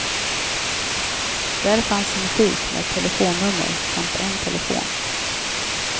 Där fanns en skylt med ett telefonnummer samt en telefon.